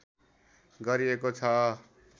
गरिएको छ।